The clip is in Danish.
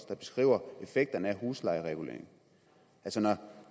der beskriver effekterne af huslejereguleringen når